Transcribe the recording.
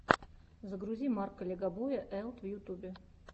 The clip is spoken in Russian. загрузи марка легобоя элт в ютюбе